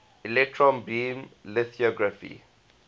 electron beam lithography